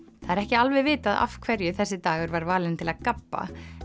það er ekki alveg vitað af hverju þessi dagur var valinn til að gabba